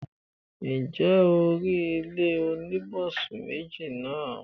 ǹjẹ́ o rí ilé oníbùsùn méjì náà?